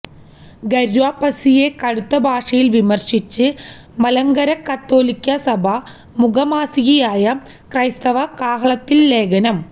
ഘര്വാപ്പസിയെ കടുത്ത ഭാഷയില് വിമര്ശിച്ച് മലങ്കര കത്തോലിക്കാ സഭാ മുഖമാസികയായ ക്രൈസ്തവ കാഹളത്തില് ലേഖനം